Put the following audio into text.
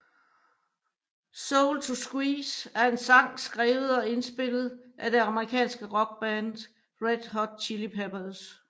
Soul To Squeeze er en sang skrevet og indspillet af det amerikanske rockband Red Hot Chili Peppers